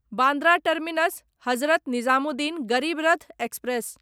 Bandra terminus Hazrat Nizamuddin Garib Rath express